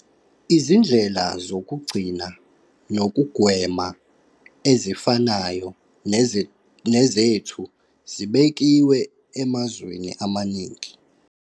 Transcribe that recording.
Izindlela zokugcina nokugwema ezifanayo nezethu zibekiwe emazweni amaningi.